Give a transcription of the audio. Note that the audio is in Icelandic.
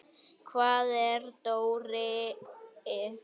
Hvar er Dóri?